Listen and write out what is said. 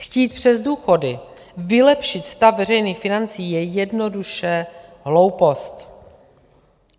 Chtít přes důchody vylepšit stav veřejných financí je jednoduše hloupost.